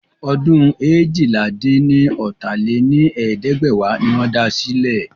Ọdún eéjìlá-dín-ní-ọ́ta lé ní ẹ̀ẹ́dẹ́gbẹ́wá ni wọ́n da sílẹ̀.